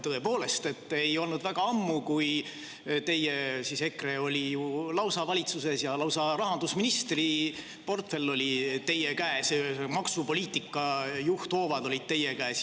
Tõepoolest ei olnud väga ammu, kui teie, EKRE oli ju lausa valitsuses ja lausa rahandusministri portfell oli teie käes, maksupoliitika juhthoovad olid teie käes.